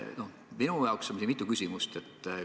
Minul on mitu küsimust.